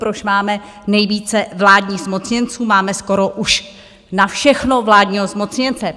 Proč máme nejvíce vládních zmocněnců, máme skoro už na všechno vládního zmocněnce?